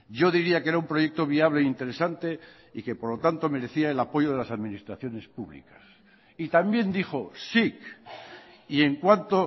yo diría que era un proyecto viable interesante y que por lo tanto merecía el apoyo de las administraciones públicas y también dijo sic y en cuanto